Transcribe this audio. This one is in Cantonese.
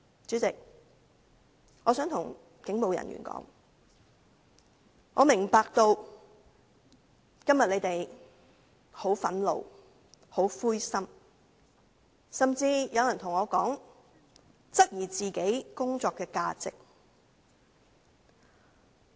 主席，我想對警務人員說，我明白他們今天很憤怒和灰心，甚至有人對我說，他質疑自己的工作價值。